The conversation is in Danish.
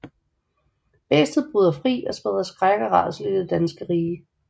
Bæstet bryder fri og spreder skræk og rædsel i det danske rige